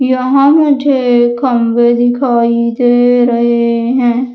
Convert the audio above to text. यहां मुझे खंभे दिखाई दे रहे हैं।